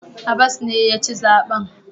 Abbas ne ya ci zaben.